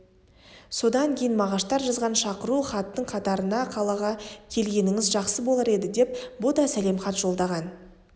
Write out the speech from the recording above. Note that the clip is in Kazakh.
содан кейін мағаштар жазған шақырту хаттың қатарына қалаға келгеніңіз жақсы болар еді деп бұ да сәлемхат жолдаған